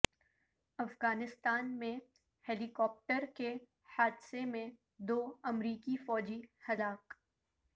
افغانستان میں helicopter کے حادثے میں دو امریکی فوجی ہلاک